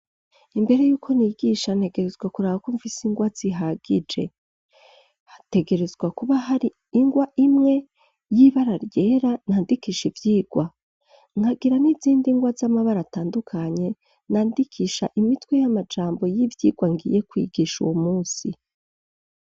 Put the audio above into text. Imbere y'uko nigisha, ntegerezwa kuraba ko mfise ingwa zihagije. Hategerezwa kuba har'ingwa imwe y'ibara ryera nandikisha ivyigwa, nkagira n'izindi ngwa z'amabara atandukanye nandikisha imitwe y'amajambo y'ivyigwa ngiye kwigisha uwo munsi.